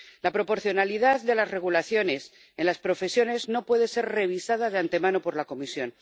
La proporcionalidad de las regulaciones en las profesiones no puede ser revisada de antemano por la Comisión.